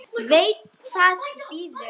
Veit hvað bíður.